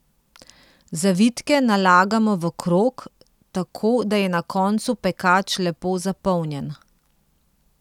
Zavitke nalagamo v krog, tako da je na koncu pekač lepo zapolnjen.